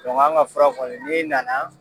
anw ka fura kɔni ne nana.